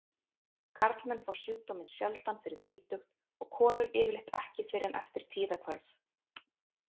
Karlmenn fá sjúkdóminn sjaldan fyrir þrítugt og konur yfirleitt ekki fyrr en eftir tíðahvörf.